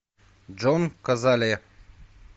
джон казале